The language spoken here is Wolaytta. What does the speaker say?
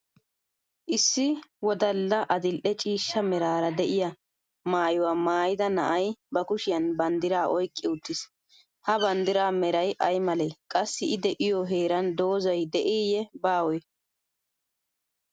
Issi wodalla adil'e ciishsha meraara de'iyaa maayuwa maayida na'ay ba kushiyan banddiraa oyqqi uttis ha banddiraa Meray ay malee? Qassi I de'iyoo heeran doozzay de'iiyye baawee?